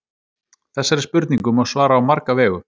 Þessari spurningu má svara á marga vegu.